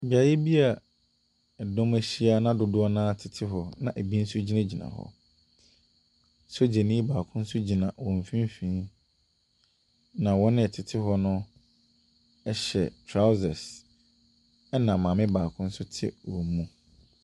Beaeɛ bi ɛdɔm ahyia na dodoɔ naa tete hɔ na ebi nso gyinagyina hɔ. Sogyanii baako nso gyina wɔn mfimfinn na wɔn a ɛte hɔ no hyɛ trousers ɛna maame baako nso ɛte wɔn mu.